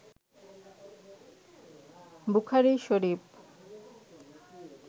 Bukhari Sharif